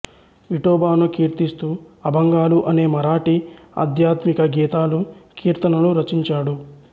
విఠోబాను కీర్తిస్తూ అభంగాలు అనే మరాఠీ ఆధ్యాత్మిక గీతాలు కీర్తనలు రచించాడు